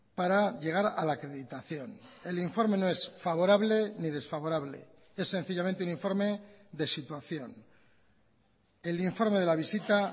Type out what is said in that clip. para llegar a la acreditación el informe no es favorable ni desfavorable es sencillamente un informe de situación el informe de la visita